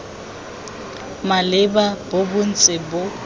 maleba bo sa ntse bo